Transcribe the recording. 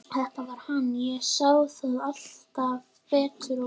Þetta var hann, ég sá það alltaf betur og betur.